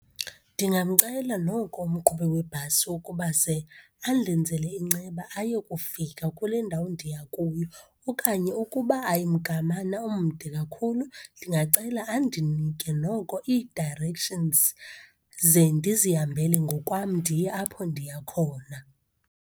Ndingamcela noko umqhubi webhasi ukuba ze andenzele inceba ayokufika kule ndawo ndiya kuyo. Okanye ukuba ayimgamana omde kakhulu, ndingacela andinike noko ii-directions ze ndizihambele ngokwam ndiye apho ndiya khona.